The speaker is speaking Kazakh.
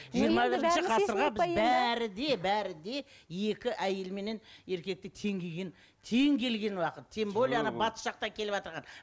бәрі де бәрі де екі әйел менен еркекті тең келген тең келген уақыт тем более батыс жақтан келіватырған